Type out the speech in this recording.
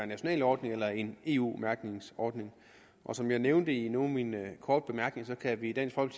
national ordning eller en eu mærkningsordning som jeg nævnte i nogle af mine korte bemærkninger kan vi